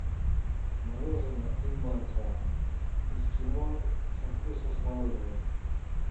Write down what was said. мороженое инмарко эскимо со вкусом смородины